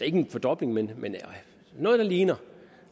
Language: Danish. en fordobling men noget der ligner